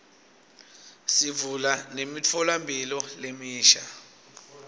sivula nemitfolamphilo lemisha